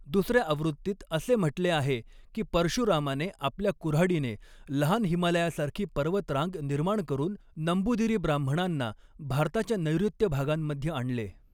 दुसर्या आवृत्तीत असे म्हटले आहे की परशुरामाने आपल्या कुऱ्हाडीने लहान हिमालयासारखी पर्वतरांग निर्माण करून, नंबूदिरी ब्राह्मणांना भारताच्या नैऋत्य भागांमध्ये आणले.